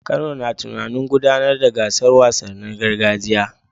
Kano na tunanin gudanar da gasar wasannin gargajiya